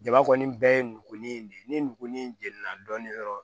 Jaba kɔni bɛɛ ye nugu ni de ni nugu ni jeni na dɔɔni dɔrɔn